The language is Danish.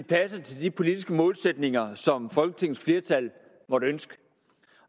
passer til de politiske målsætninger som folketingets flertal måtte ønske